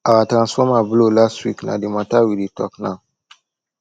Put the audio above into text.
our transformer blow last week na di mata we dey tok now